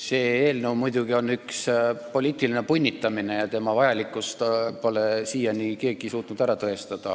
See eelnõu on muidugi üks poliitiline punnitamine ja tema vajalikkust pole siiani suutnud keegi ära tõestada.